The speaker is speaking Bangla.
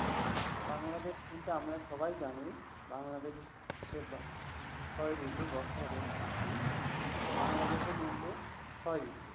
বাংলাদেশ কিন্তু আমরা সবাই জানি, বাংলাদেশে ছয় ঋতু বছরে । বাংলাদেশ কিন্তু ছয় ঋতু।